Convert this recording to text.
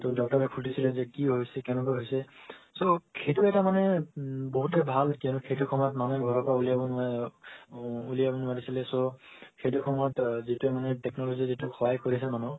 তো doctor এ সুধিছিলে যে কি হৈছে কেনেকোৱা হৈছে so সেটো এটা মানে বহুতে ভাল কিয়নো সেইটো সময় মানুহে ঘৰৰ পৰা উলিৱাব নোৱাৰে উম উলিৱাব নোৱাৰিছিলে so সেটো সময়ত যেটোৱে মানে technology যোটো সহায় কৰিছে মানুহক